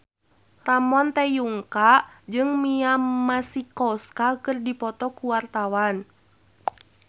Ramon T. Yungka jeung Mia Masikowska keur dipoto ku wartawan